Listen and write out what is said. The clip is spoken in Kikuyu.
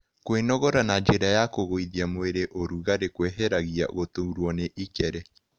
Kwĩnogora na njĩra ya kũĩgũĩthĩa mwĩrĩ ũrũgarĩ kweheragĩa gũtũrwa nĩ ĩkere